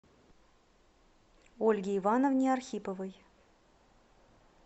ольге ивановне архиповой